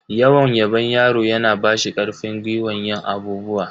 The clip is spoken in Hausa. Yawan yabon yaro yana bashi karfin gwiwan yin abubuwa.